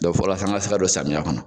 fola sa an ka se ka don samiya kɔnɔ.